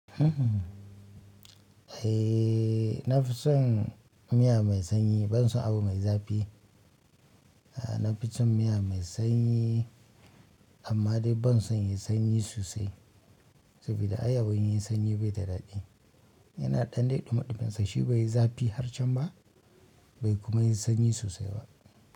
Ehh na fi son miya mai sanyi. Banson abu mai zafi. Na fi cin miya me sanyi amma dai ban son me sanyi sosai. Saboda ai abu in yai sanyi bai da daɗi. Yana ɗan de dumi dumin sa. Shi bai yi zafi har can ba be kuma yi sanyi sosai ba.